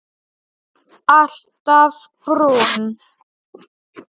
Alltaf brúnn.